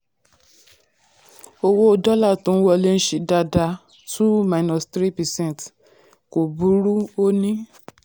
owó dọ́là tó n wọlé ń ṣe dáadáa two minus three percent dáadáa kò burú ó ní.